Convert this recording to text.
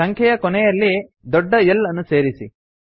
ಸಂಖ್ಯೆಯ ಕೊನೆಯಲ್ಲಿ ದೊಡ್ಡ L ಅನ್ನು ಸೇರಿಸಿ